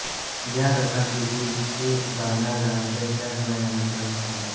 ज्या रसात भीति ही भावना जाणवते त्यास भयानक रस म्हणतात